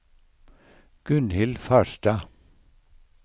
Gunhild Farstad